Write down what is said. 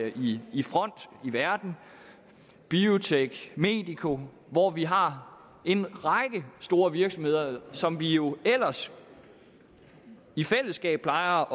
i i front i verden biotek medico hvor vi har en række store virksomheder som vi jo ellers i fællesskab plejer